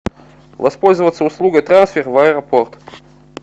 воспользоваться услугой трансфер в аэропорт